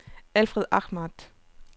Alfred Ahmad